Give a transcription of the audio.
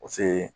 O se